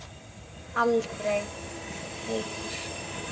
Aldrei veikur.